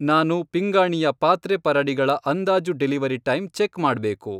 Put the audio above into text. ನಾನು ಪಿಂಗಾಣಿಯ ಪಾತ್ರೆಪರಡಿಗಳ ಅಂದಾಜು ಡೆಲಿವರಿ ಟೈಮ್ ಚೆಕ್ ಮಾಡ್ಬೇಕು.